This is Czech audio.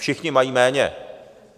Všichni mají méně.